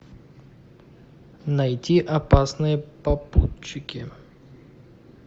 найти опасные попутчики